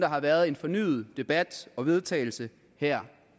har været en fornyet debat og vedtagelse her